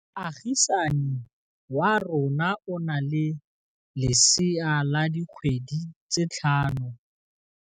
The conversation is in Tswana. Moagisane wa rona o na le lesea la dikgwedi tse tlhano.